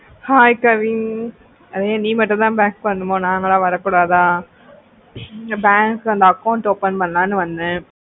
hai kavin நீ மட்டோ தா bank வருணோமா நாங்களா வரக்கூடாதா bank இந்த account open பண்ணலாம்னு வந்த